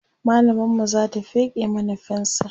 mallamar mu Zata feke mana fensir